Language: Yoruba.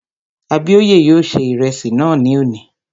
Abíóyè yóò ṣe ìrẹsì náà ní òní